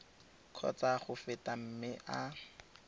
kgotsa go feta mme a